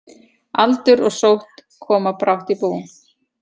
Aldur og sótt koma brátt í bú.